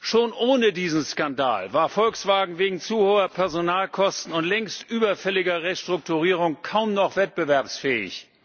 Schon ohne diesen Skandal war Volkswagen wegen zu hoher Personalkosten und längst überfälliger Restrukturierung kaum noch wettbewerbsfähig.